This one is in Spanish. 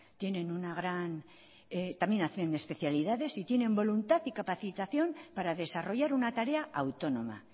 tienen una gran también hacen especialidades y tienen voluntad y capacitación para desarrollar una tarea autónoma